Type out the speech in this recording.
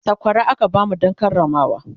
sakwara aka bamu Dan Karamawa